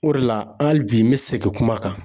O de la, hali bi n bɛ segin kuma kan.